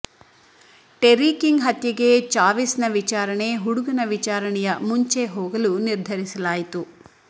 terry King ಹತ್ಯೆಗೆ ಚಾವಿಸ್ನ ವಿಚಾರಣೆ ಹುಡುಗನ ವಿಚಾರಣೆಯ ಮುಂಚೆ ಹೋಗಲು ನಿರ್ಧರಿಸಲಾಯಿತು